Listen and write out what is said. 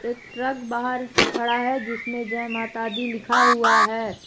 Truck बाहर खड़ा है जिसमें जय माता दी लिखा हुआ है।